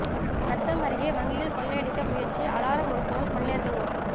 நத்தம் அருகே வங்கியில் கொள்ளையடிக்க முயற்சி அலாரம் ஒலித்ததால் கொள்ளையர்கள் ஓட்டம்